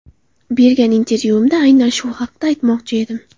Bergan intervyuimda aynan shu haqda aytmoqchi edim.